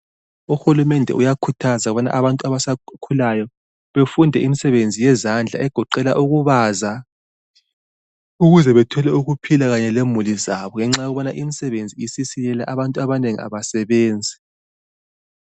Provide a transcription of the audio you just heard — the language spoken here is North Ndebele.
Uhulumende uyakhuthaza ukubana abantu abasakhulayo befunde imisebenzi yezandla egoqela ukubaza ukuzw bethole ukuphila kanye lemuli zabo ngoba abantu abanengi abasasebenzi.